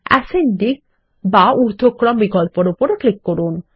ascending বা ঊর্ধ্বক্রম বিকল্পের উপর ক্লিক করুন